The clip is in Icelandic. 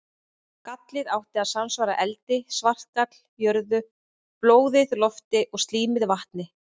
Gallið átti að samsvara eldi, svartagall jörðu, blóðið lofti og slímið vatni.